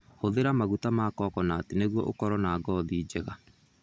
Hũthĩra maguta ma coconut nĩguo ũkorũo na ngothi njega.